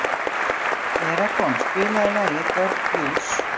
Nú eru þau sest í dyngjuna, bæði, sagði Sveinn, og láta blíðlega.